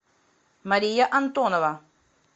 мария антонова